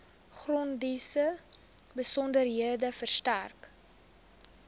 grondeise besonderhede verstrek